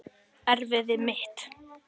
Erfiði mitt.